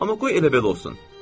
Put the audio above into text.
Amma qoy elə belə olsun.